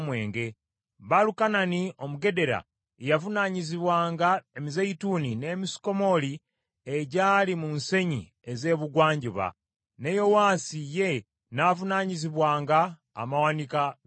Baalukanani Omugedera ye yavunaanyizibwanga emizeeyituuni n’emisukomooli egyali mu nsenyi ez’ebugwanjuba; ne Yowaasi ye n’avunaanyizibwanga amawanika g’amafuta.